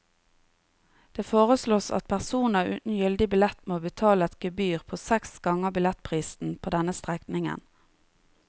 Det foreslås at personer uten gyldig billett må betale et gebyr på seks ganger billettprisen på denne strekningen.